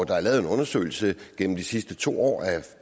der er lavet en undersøgelse gennem de sidste to år altså